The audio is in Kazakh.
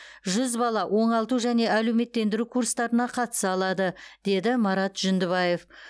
жүз бала оңалту және әлеуметтендіру курстарына қатыса алады деді марат жүндібаев